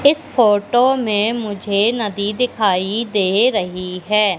इस फोटो में मुझे नदी दिखाई दे रही है।